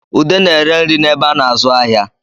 Ude na-ere nri n'ebe a na-azụ ahịa